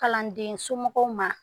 Kalandensomɔgɔw ma